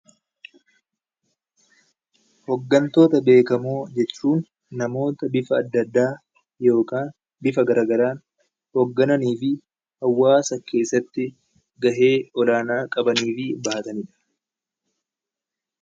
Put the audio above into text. Hoggantoota Beekamoo jechuun namoota bifa adda addaan yookaan bifa gara garaan hoggananii fi hawwaasa keessatti gahee gara garaa qabanii fi bahatanidha.